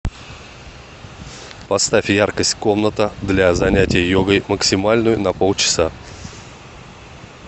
поставь яркость комната для занятия йогой максимальную на полчаса